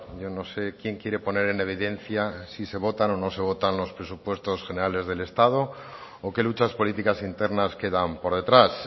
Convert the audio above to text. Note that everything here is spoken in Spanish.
yo no sé quién quiere poner en evidencia si se votan o no se votan los presupuestos generales del estado o qué luchas políticas internas quedan por detrás